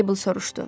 Meybl soruşdu.